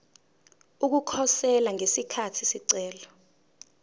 ukukhosela ngesikhathi isicelo